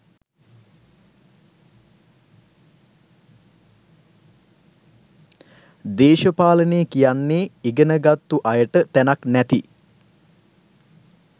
දේශපාලනේ කියන්නෙ ඉගෙන ගත්තු අයට තැනක් නැති